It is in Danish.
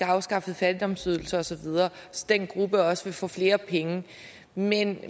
afskaffet fattigdomsydelser osv så den gruppe også vil få flere penge men